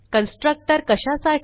constructor कशासाठी